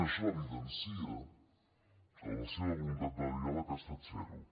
això evidencia que la seva voluntat de diàleg ha estat zero